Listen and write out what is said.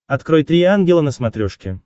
открой три ангела на смотрешке